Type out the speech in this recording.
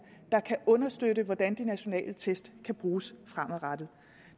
der kan understøtte hvordan de nationale test kan bruges fremadrettet